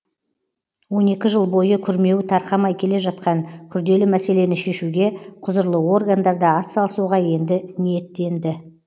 он екі жыл бойы күрмеуі тарқамай келе жатқан күрделі мәселені шешуге құзырлы органдарда атсалысуға енді ниеттенді